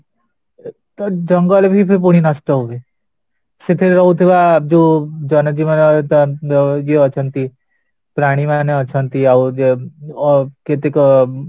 ଅ ତ ଜଙ୍ଗଲବି ପୁଣି ନଷ୍ଟ ହୁଅ ସେଥିରେ ରହୁଥିବା ଯୋଉ ଜନଜୀବନ ଇଏଅଛନ୍ତି ପ୍ରାଣୀ ମାନେ ଅଛନ୍ତି ଆଉ ଅ କେତେକ ଅ